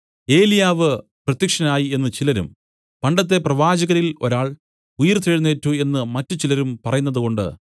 ഏലിയാവ് പ്രത്യക്ഷനായി എന്നു ചിലരും പണ്ടത്തെ പ്രവാചകരിൽ ഒരാൾ ഉയിർത്തെഴുന്നേറ്റു എന്നു മറ്റുചിലരും പറയുന്നതുകൊണ്ട്